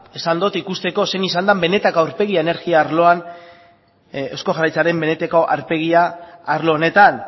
esan dut ikusteko zein izan da benetako aurpegia energia arloan eusko jaurlaritzaren benetako aurpegia arlo honetan